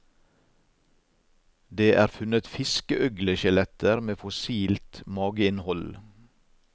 Det er funnet fiskeøgleskjeletter med fossilt mageinnhold.